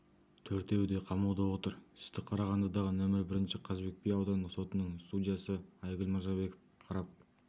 төртеуі де қамауда отыр істі қарағандыдағы нөмір бірінші қазыбек би аудандық сотының судьясы айгүл мырзабекова қарап